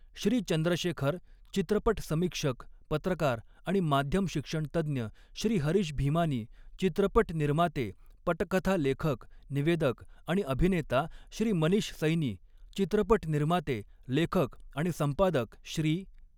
श्री चंद्रशेखर चित्रपट समीक्षक, पत्रकार आणि माध्यम शिक्षणतज्ञ श्री हरीश भीमानी, चित्रपट निर्माते, पटकथा लेखक, निवेदक आणि अभिनेता श्री मनीष सैनी, चित्रपट निर्माते, लेखक आणि संपादक श्री.